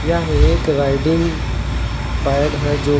यह एक riding pad है जो की--